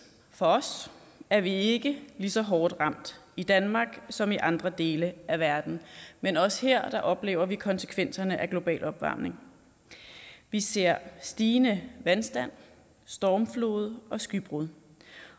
for os er vi ikke lige så hårdt ramt i danmark som i andre dele af verden men også her oplever vi konsekvenserne af global opvarmning vi ser stigende vandstand stormfloder og skybrud